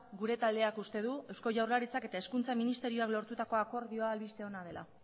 gure taldeak uste du eusko jaurlaritzak eta hezkuntza ministerioak lortutako akordioa albiste ona dela